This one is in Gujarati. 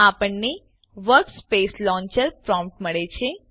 આપણને વર્કસ્પેસ લોન્ચર પ્રોમ્પ્ટ મળે છે